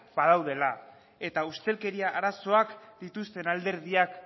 badaudela eta ustelkeria arazoak dituzten alderdiak